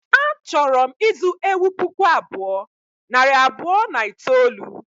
A chọrọ m ịzụ ewu puku abụọ, nari abụọ na itoolu